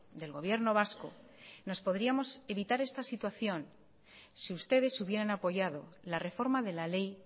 del gobierno vasco nos podríamos evitar esta situación si ustedes hubieran apoyado la reforma de la ley